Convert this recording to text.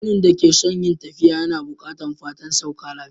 Mutumin da ke son yin tafiya na bukatan fatan sauka lafiya.